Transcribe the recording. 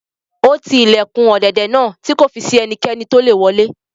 Ó ti ilẹ̀kùn ọ̀dẹ̀dẹ̀ náà tí kò fi si ẹnikẹ́ni tolè wọlé